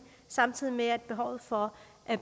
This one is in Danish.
samtidig med at behovet for